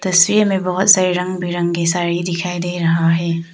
तस्वीर में बहुत सारी रंग बिरंगी साड़ी दिखाई दे रहा है।